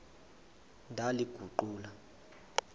ndaliguqula